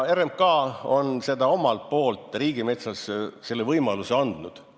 RMK on omalt poolt riigimetsas selle võimaluse andnud.